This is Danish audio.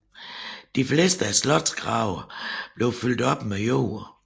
De fleste af slotgravene blev fyldt op med jord